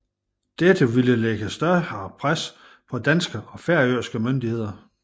Dette ville lægge større pres på danske og færøske myndigheder